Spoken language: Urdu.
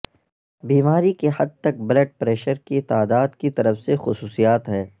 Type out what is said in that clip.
بیماری کی حد تک بلڈ پریشر کی تعداد کی طرف سے خصوصیات ہے